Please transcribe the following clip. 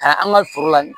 Ka an ka foro la